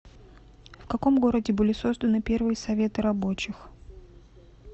в каком городе были созданы первые советы рабочих